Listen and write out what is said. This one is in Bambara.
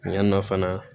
Yan nɔ fana